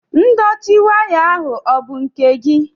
Ndọtị waya ahụ ọ bụ nke gị?